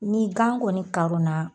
Ni gan kɔni karon na